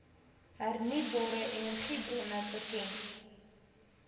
hernubare energiebronne bekend